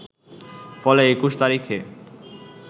ফলে ২১ তারিখে